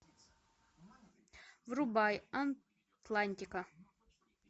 врубай атлантика